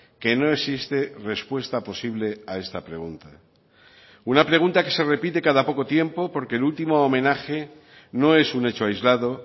que no existe respuesta posible a esta pregunta una pregunta que se repite cada poco tiempo porque el último homenaje no es un hecho aislado